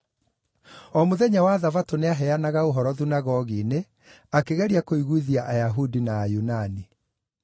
O mũthenya wa Thabatũ nĩaheanaga ũhoro thunagogi-inĩ, akĩgeria kũiguithia Ayahudi na Ayunani.